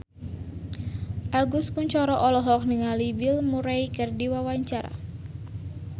Agus Kuncoro olohok ningali Bill Murray keur diwawancara